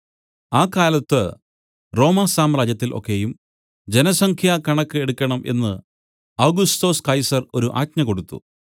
ആ കാലത്ത് റോമാസാമ്രാജ്യത്തിൽ ഒക്കെയും ജനസംഖ്യ കണക്ക് എടുക്കണം എന്ന് ഔഗുസ്തൊസ് കൈസർ ഒരു ആജ്ഞ കൊടുത്തു